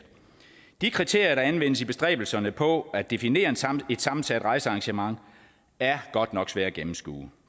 de kriterier der anvendes i bestræbelserne på at definere et sammensat rejsearrangement er godt nok svære at gennemskue